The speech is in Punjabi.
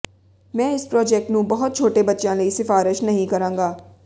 ਮੈਂ ਇਸ ਪ੍ਰੌਜੈਕਟ ਨੂੰ ਬਹੁਤ ਛੋਟੇ ਬੱਚਿਆਂ ਲਈ ਸਿਫਾਰਸ਼ ਨਹੀਂ ਕਰਾਂਗਾ